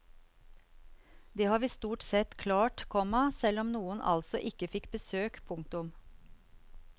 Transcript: Det har vi stort sett klart, komma selv om noen altså ikke fikk besøk. punktum